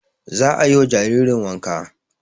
Za a yi wa jaririn wanka